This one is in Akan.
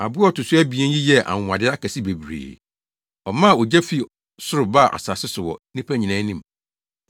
Aboa a ɔto so abien yi yɛɛ anwonwade akɛse bebree. Ɔmaa ogya fii soro baa asase so wɔ nnipa nyinaa anim.